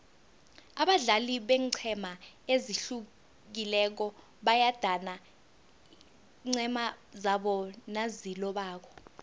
abadlali beenqhema ezihlukileko bayadana iinqhema zabo nazilobako